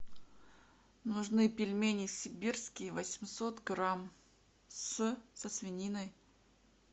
нужны пельмени сибирские восемьсот грамм с со свининой